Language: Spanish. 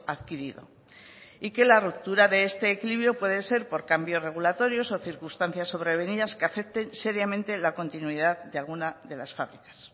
adquirido y que la ruptura de este equilibrio puede ser por cambios regulatorios o circunstancias sobrevenidas que afecten seriamente la continuidad de alguna de las fábricas